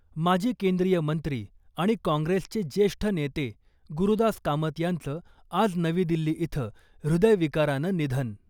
माजी केंद्रीय मंत्री आणि काँग्रेसचे ज्येष्ठ नेते गुरूदास कामत यांचं आज नवी दिल्ली इथं हृदयविकारानं निधन .